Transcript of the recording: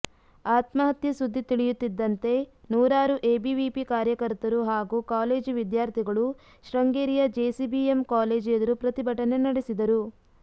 ಆತ್ಮಹತ್ಯೆ ಸುದ್ದಿ ತಿಳಿಯುತ್ತಿದ್ದಂತೆ ನೂರಾರು ಎಬಿವಿಪಿ ಕಾರ್ಯಕರ್ತರು ಹಾಗೂ ಕಾಲೇಜು ವಿದ್ಯಾರ್ಥಿಗಳು ಶೃಂಗೇರಿಯ ಜೆಸಿಬಿಎಂ ಕಾಲೇಜು ಎದುರು ಪ್ರತಿಭಟನೆ ನಡೆಸಿದರು